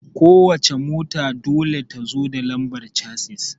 Ko wace mota dole ta zo da lambar casis